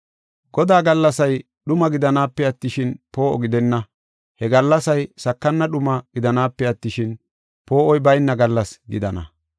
Godaa gallasay dhuma gidanaape attishin, poo7o gidenna; he gallasay sakana dhuma gidanaape attishin, poo7oy bayna gallas gidana.